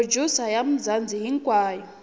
producer ya mzanzi yinyikiwile